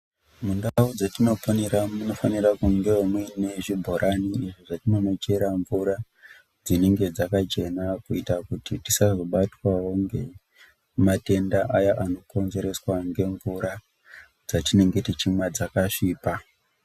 Mundau dzatinoponera munofanira kungevo muine zvibhorani izvo zvatinonochera mvura dzinenge dzakachena. Kuita kuti tisazvo batwavo ngematenda aya anokonzereswa ngemvura dzatinenge tichimwa dzakasvipa.